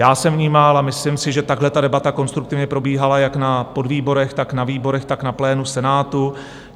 Já jsem vnímal a myslím si, že takhle ta debata konstruktivně probíhala jak na podvýborech, tak na výborech, tak na plénu Senátu.